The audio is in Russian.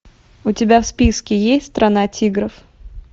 у тебя в списке есть страна тигров